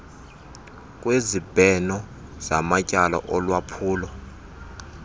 kwezibheno zamatyala olwaphulo